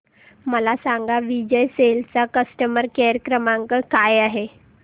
मला सांगा विजय सेल्स चा कस्टमर केअर क्रमांक काय आहे